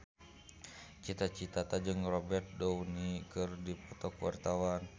Cita Citata jeung Robert Downey keur dipoto ku wartawan